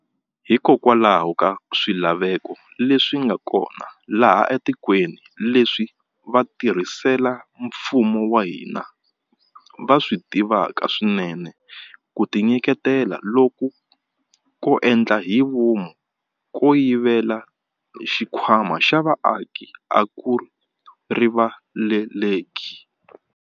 Hikokwalaho ka swilaveko leswi nga kona laha etikweni, leswi vatirhela mfumo va hina va swi tivaka swinene, ku tinyiketela loku ko endla hi vomu ko yivela xikhwama xa vaaki a ku rivaleleki.